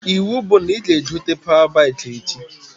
Iwu bụ na ị ga-egote pawa baikị echi!